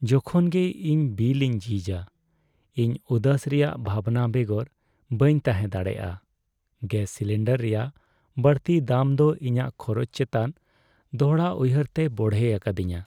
ᱡᱚᱠᱷᱚᱱ ᱜᱮ ᱤᱧ ᱵᱤᱞ ᱤᱧ ᱡᱷᱤᱡᱟ, ᱤᱧ ᱩᱫᱟᱹᱥ ᱨᱮᱭᱟᱜ ᱵᱷᱟᱵᱱᱟ ᱵᱮᱜᱚᱨ ᱵᱟᱹᱧ ᱛᱟᱦᱮᱸ ᱫᱟᱲᱮᱭᱟᱜᱼᱟ ᱾ ᱜᱮᱥ ᱥᱤᱞᱤᱱᱰᱟᱨ ᱨᱮᱭᱟᱜ ᱵᱟᱹᱲᱛᱤ ᱫᱟᱢ ᱫᱚ ᱤᱧᱟᱹᱜ ᱠᱷᱚᱨᱚᱪ ᱪᱮᱛᱟᱱ ᱫᱚᱲᱦᱟᱩᱭᱦᱟᱹᱨᱛᱮᱭ ᱵᱚᱲᱦᱮ ᱟᱠᱟᱫᱤᱧᱟᱹ ᱾